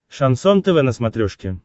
шансон тв на смотрешке